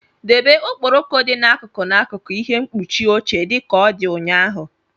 Debe okporoko dị n'akụkụ n'akụkụ ihe mkpuchi oche dị ka ọ dị ụnyaahụ!